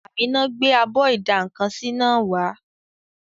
Àmíná gbé abọ́ ìdá-nǹkan-sí náà wá